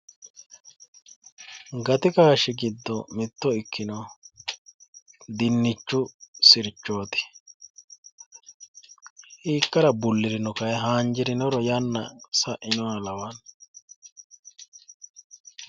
Gati kaashshi giddo mitto ikkinohu dinnichchu sirchooti hiikkara bullirino kayi haanjirinoro yanna sa'inoha lawanno